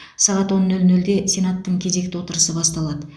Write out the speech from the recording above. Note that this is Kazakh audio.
сағат он нөл нөлде сенаттың кезекті отырысы басталады